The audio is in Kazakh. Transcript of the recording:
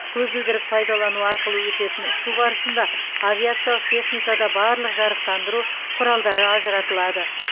көзілдірік пайдалану арқылы өтетін ұшу барысында авиациялық техникада барлық жарықтандыру құралдары ажыратылады